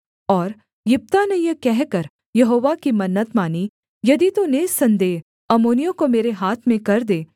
और यिप्तह ने यह कहकर यहोवा की मन्नत मानी यदि तू निःसन्देह अम्मोनियों को मेरे हाथ में कर दे